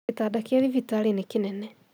Gĩtanda kĩa thibitarĩ nĩ kĩnene